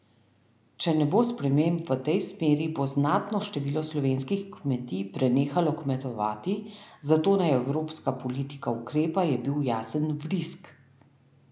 Če ne bo sprememb v tej smeri, bo znatno število slovenskih kmetij prenehalo kmetovati, zato naj evropska politika ukrepa, je bil jasen Vrisk.